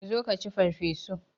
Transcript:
Zo ka ci farfesu!